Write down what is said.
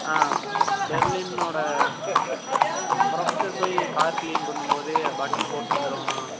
ஆஹ் பெர்லின்னோட professor போய் car clean பண்ணும்போது button ன போட்ருவான்.